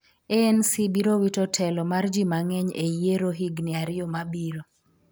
ANC biro wito telo mar ji mang'eny e yiero higni ariyo mabiro